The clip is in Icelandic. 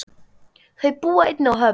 Þau búa einnig á Höfn.